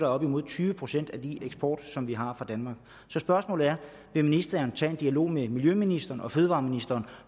op mod tyve procent af den eksport som vi har fra danmark så spørgsmålet er vil ministeren tage en dialog med miljøministeren og fødevareministeren